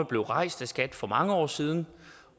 blev rejst af skat for mange år siden